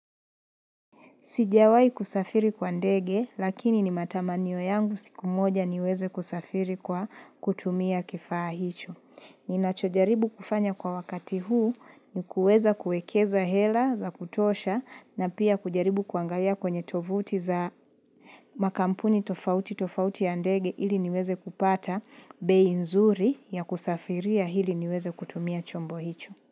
Sijawai kusafiri kwa ndege, lakini ni matamanio yangu siku moja niweze kusafiri kwa kutumia kifaa hicho. Ninachojaribu kufanya kwa wakati huu ni kuweza kuekeza hela za kutosha na pia kujaribu kuangalia kwenye tovuti za makampuni tofauti tofauti ya ndege ili niweze kupata bei nzuri ya kusafiria hili niweze kutumia chombo hicho.